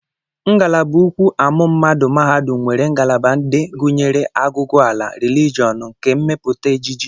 Ngalaba ukwu amụmmadụ mahadum nwere ngalaba ndị gụnyere agụgụala, rilijọn, nkà mmepụta ejije